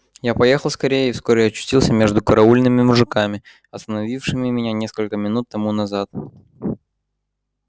я поехал скорее и вскоре очутился между караульными мужиками остановившими меня несколько минут тому назад